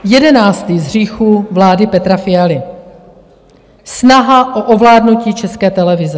Jedenáctý z hříchů vlády Petra Fialy - snaha o ovládnutí České televize.